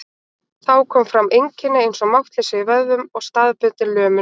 Þá koma fram einkenni eins og máttleysi í vöðvum og staðbundin lömun.